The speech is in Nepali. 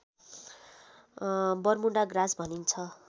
बरमुडा ग्रास भनिन्छ